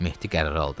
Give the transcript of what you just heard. Mehdi qərar aldı.